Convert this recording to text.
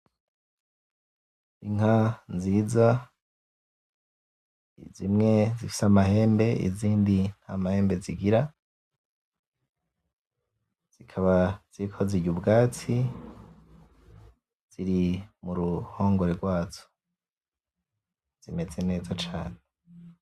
Inka nziza zimwe zifise amahembe izindi ntamahembe zigira zikaba ziriko zirya ubwatsi ziri muruhongore gwazo zimeze neza cane